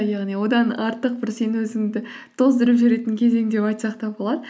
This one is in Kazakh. яғни одан артық бір сен өзіңді тоздырып жіберетін кезең деп айтсақ та болады